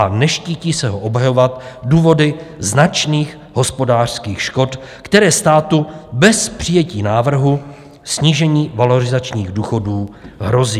A neštítí se ho obhajovat důvody značných hospodářských škod, které státu bez přijetí návrhu snížení valorizačních důchodů hrozí.